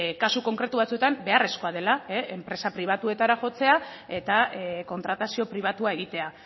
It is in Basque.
kasu konkretu batzuetan beharrezkoa dela enpresa pribatuetara jotzea eta kontratazio pribatua egitea